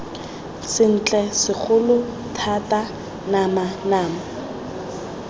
sentle segolo thata nama nama